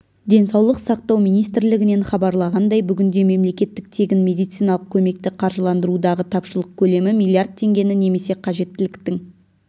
денсаулық сақтау министрлігінен хабарлағандай бүгінде мемлекеттік тегін медициналық көмекті қаржыландырудағы тапшылық көлемі млрд теңгені немесе қажеттіліктің